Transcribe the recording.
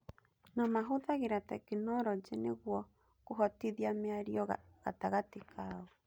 na mahũthĩraga tekinorojĩ nĩguo kũhotithia mĩario gatagatĩ kao.